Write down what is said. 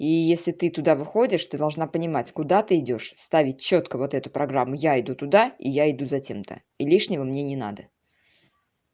и если ты туда выходишь ты должна понимать куда ты идёшь ставить чётко вот эту программу я иду туда и я иду за тем-то и лишнего мне не надо